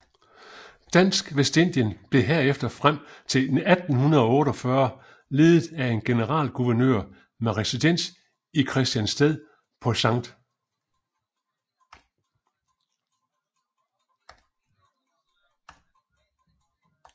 Dansk Vestindien blev herefter frem til 1848 ledet af en generalguvernør med residens i Christiansted på St